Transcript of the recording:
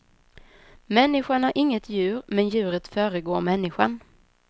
Människan är inget djur, men djuret föregår människan.